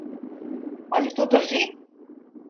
Ali to drži?